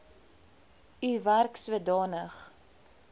u werk sodanig